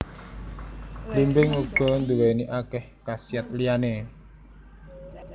Blimbing uga nduwéni akéh khasiat liyané